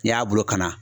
N'i y'a bolo kana